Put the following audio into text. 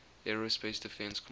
aerospace defense command